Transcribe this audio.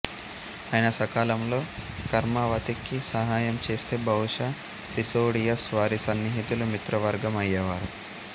ఆయన సకాలంలో కర్మవతికి సహాయం చేస్తే బహుశా సిసోడియాస్ వారి సన్నిహితులు మిత్రవర్గం అయ్యేవారు